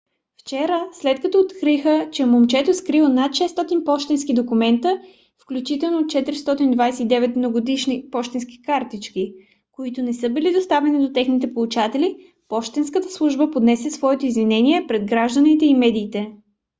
вчера след като откриха че момчето е скрило над 600 пощенски документа включително 429 новогодишни пощенски картички които не са били доставени на техните получатели пощенската служба поднесе своето извинение пред гражданите и медиите